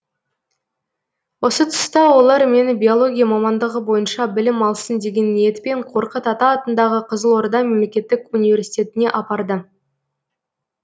осы тұста олар мені биология мамандығы бойынша білім алсын деген ниетпен қорқыт ата атындағы қызылорда мемлекеттік университетіне апарды